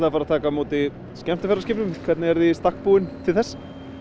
að taka á móti skemmtiferðaskipum hvernig eruð þið í stakk búin til þess